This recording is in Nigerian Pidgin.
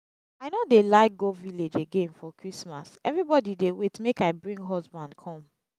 i no dey like go village again for christmas everybody dey wait make i bring husband come